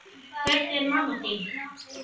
Hvernig er mamma þín?